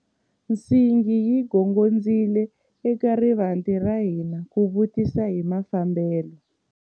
Nsingi yi gongondzile eka rivanti ra hina ku vutisa hi mafambelo.